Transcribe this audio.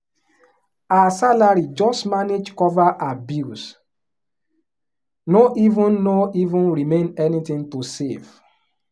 her salary just manage cover her bills no even no even remain anything to save.